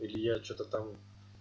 илья что-то там